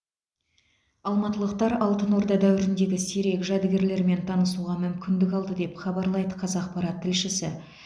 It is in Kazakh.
алматылықтар алтын орда дәуіріндегі сирек жәдігерлермен танысуға мүмкіндік алды деп хабарлайды қазақпарат тілшісі